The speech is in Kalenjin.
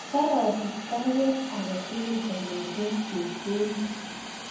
Karasich baruet age tugul kongeten Chepkorir